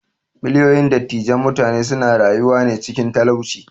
Miliyoyin dattijan mutane suna rayuwane cikin talauci.